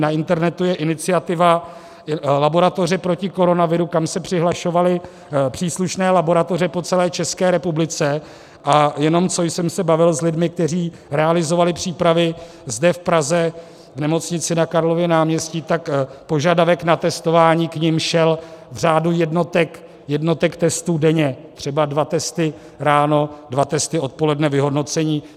Na internetu je iniciativa Laboratoře proti koronaviru, kam se přihlašovaly příslušné laboratoře po celé České republice, a jenom co jsem se bavil s lidmi, kteří realizovali přípravy zde v Praze v nemocnici na Karlově náměstí, tak požadavek na testování k nim šel v řádu jednotek testů denně, třeba dva testy ráno, dva testy odpoledne, vyhodnocení.